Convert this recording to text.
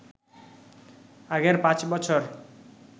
আগের পাঁচ বছর